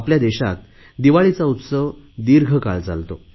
आपल्या देशात दिवाळीचा उत्सव दीर्घ काळ चालतो